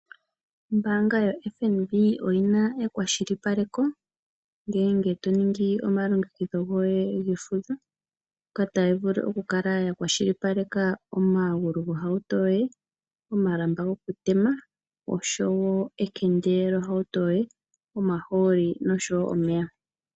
Ombaanga ya FNB oyi na ekwashilipaleko ngele to ningi omalongekidho goye gesiku ngoka taga vulu oku kala ya kwashilipaleka omagulu gohauto yoye, omalamba gokutema osho woo ekende lyohauto yoye, omahooli nosho woo omeya